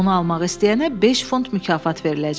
Onu almaq istəyənə beş funt mükafat veriləcək.